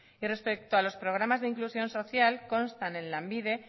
y respecto a los programas de inclusión social constan en lanbide